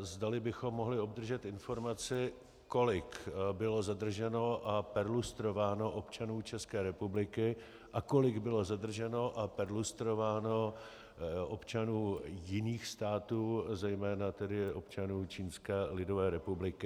zdali bychom mohli obdržet informaci, kolik bylo zadrženo a perlustrováno občanů České republiky a kolik bylo zadrženo a perlustrováno občanů jiných států, zejména tedy občanů Čínské lidové republiky.